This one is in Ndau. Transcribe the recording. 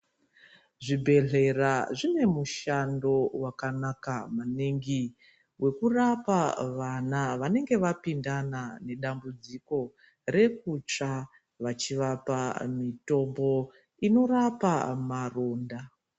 Zvi bhedhleya zvine mushando waka naka maningi weku rapa vana vanenge vapindana mu dambudziko rekutsva vachi vapa mutombo inorapa maronda.